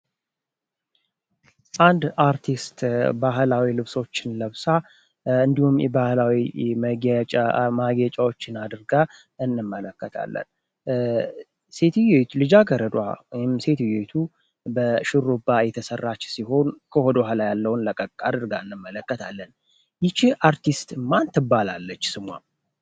አንድ አርቲስት ባህላዊ ልብሶች ለብሳ እንዲሁም የባህላዊ ማጌጫዎችን አድርጋ እንመለከታለን ልጃገረዷ ወይም ሴትዮዋ ሹሩባ የተሰራች ሲሆን ከወደህዃላዋ ላይ ያለው ለቀቅ አድርጋ እንመለከታለን ይቺ አርቲስት ማን ትባላለች ስሟ?